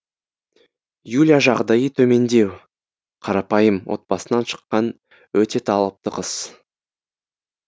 юля жағдайы төмендеу қарапайым отбасынан шыққан өте талапты қыз